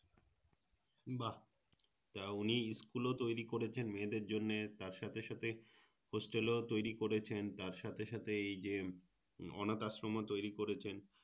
বাহ তা উনি School ও তৈরী করেছেন মেয়েদের জন্যে তার সাথে সাথে Hostel ও তৈরী করেছেন তার সাথে সাথে এই যে অনাথ আশ্রমও তৈরী করেছেন